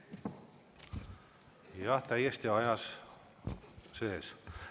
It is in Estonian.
Jah, olete täiesti ajas sees.